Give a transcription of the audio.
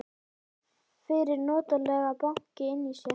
Fann fyrir notalegu banki inni í sér.